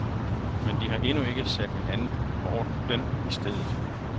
Men de har endnu ikke sat en anden orden i stedet.